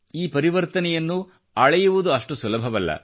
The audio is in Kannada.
ಈ ಪರಿವರ್ತನೆಯನ್ನು ಅಳೆಯುವುದು ಅಷ್ಟು ಸುಲಭವಲ್ಲ